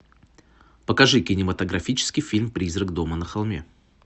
покажи кинематографический фильм призрак дома на холме